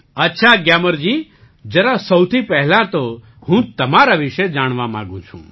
અચ્છા ગ્યામરજી જરા સૌથી પહેલાં તો હું તમારા વિશે જાણવા માગું છું